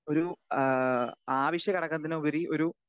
speaker 2 ഒരു ആ അവശ്യഘടകത്തിന് ഉപരി ഒരു